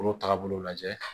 K'olu tagabolo lajɛ